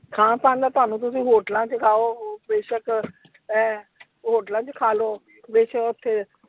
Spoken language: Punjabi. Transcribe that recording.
ਖਾਣ ਪਾਉਣ ਦਾ ਤੁਹਾਨੂੰ ਤੁਸੀਂ hotels ਚ ਖਾਓ ਬੇਸ਼ਕ ਹੈਂ hotels ਚ ਖਾ ਲੋ ਬੇਸ਼ਕ ਓਥੇ।